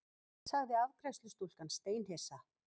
sagði afgreiðslustúlkan steinhissa.